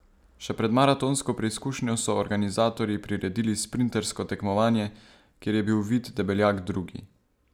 Še pred maratonsko preizkušnjo so organizatorji priredili sprintersko tekmovanje, kjer je bil Vid Debeljak drugi.